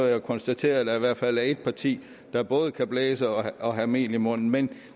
da konstatere at der i hvert fald er et parti der både kan blæse og have mel i munden men